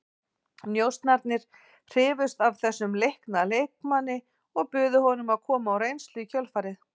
Njósnararnir hrifust af þessum leikna leikmanni og buðu honum að koma á reynslu í kjölfarið.